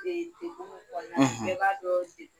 degun be kɔnɔna, , bɛɛ b'a dɔn degun